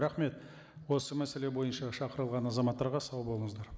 рахмет осы мәселе бойынша шақырылған азаматтарға сау болыңыздар